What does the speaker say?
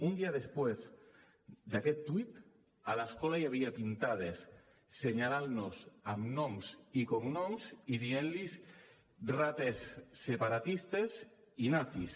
un dia després d’aquest tuit a l’escola hi havia pintades assenyalant nos amb noms i cognoms i dient los ratas separatistas i nazis